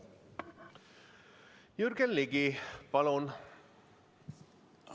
Jürgen Ligi, palun!